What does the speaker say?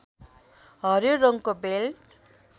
हरियो रङको बेल्ट